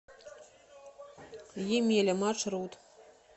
емеля маршрут